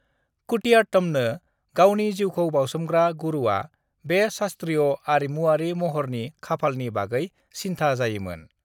कुटियाट्टमनो गावनि जीउखौ बाउसोमग्रा गुरुआ बे शास्त्रीय आरिमुआरि महरनि खाफालनि बागै सिन्था जायोमोन।